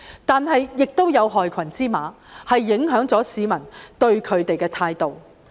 但是，亦有害群之馬影響了市民對他們的印象。